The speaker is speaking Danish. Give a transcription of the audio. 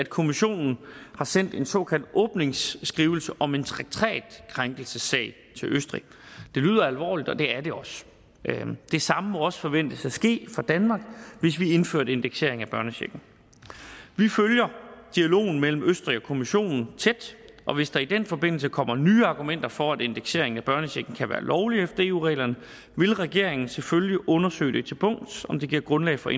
kommissionen har sendt en såkaldt åbningsskrivelse om en traktatkrænkelsessag til østrig det lyder alvorligt og det er det også det samme må også forventes at ske for danmark hvis vi indfører indeksering af børnechecken vi følger dialogen mellem østrig kommissionen tæt og hvis der i den forbindelse kommer nye argumenter for at indeksering af børnechecken kan være lovligt efter eu reglerne vil regeringen selvfølgelig undersøge til bunds om det giver grundlag for